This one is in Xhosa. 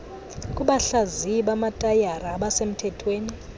kubahlaziyi bamatayara abasemthethweni